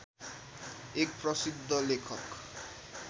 एक प्रसिद्ध लेखक